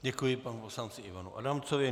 Děkuji panu poslanci Ivanu Adamcovi.